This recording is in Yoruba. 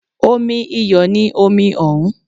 Omi iyọ̀ ni omi òun